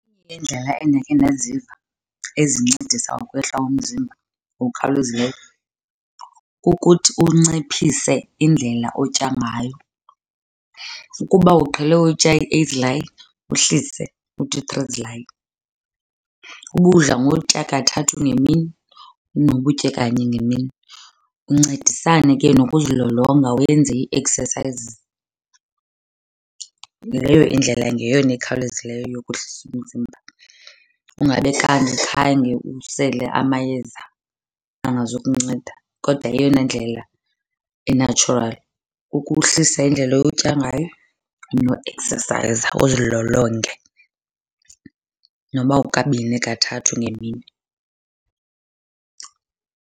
Iindlela endakhe ndaziva ezincedisa ukwehla umzimba ngokukhawulezileyo kukuthi unciphise indlela otya ngayo. Ukuba uqhele utya i-eight zilayi uhlise uthi three zilayi. Uba udla ngokutya kathathu ngemini noba utye kanye ngemini, uncedisane ke nokuzilolonga wenze i-exercises. Leyo indlela ngeyona ekhawulezileyo yokuhlisa umzimba, ungabe kanti khange usele amayeza angazukunceda. Kodwa eyona ndlela e-natural ukuhlisa indlela otya ngayo nokueksesayiza uzilolonge noba kukabini, kathathu ngemini.